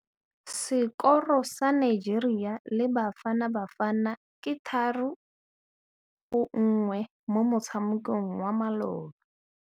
Sekôrô sa Nigeria le Bafanabafana ke 3-1 mo motshamekong wa malôba.